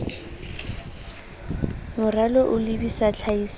moralo o lebisa tlhahisong ya